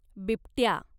बिबट्या